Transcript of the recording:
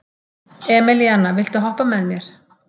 Emelíana, viltu hoppa með mér?